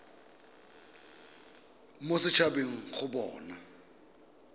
mo set habeng go bona